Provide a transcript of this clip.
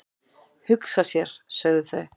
"""Hugsa sér, sögðu þau."""